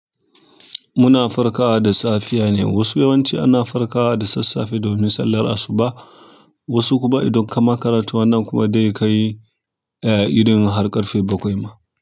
Muna farkawa da safiya ne. Wasu yawanci ana farkawa da sassafe domin sallar asuba, wasu kuma idan kama karatu wannan kuma dai kai, eh, idan har ƙarfe bakwai ma.